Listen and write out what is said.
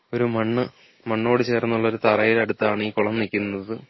ഒരു മണ്ണ് മണ്ണോട് ചേർന്നുള്ള ഒരു തറയിൽ അടുത്താണ് ഈ കുളം നിക്കുന്നത്.